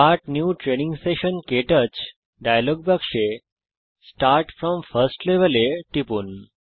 start new training session ক্টাচ dialog বাক্সে start from first level এ টিপুন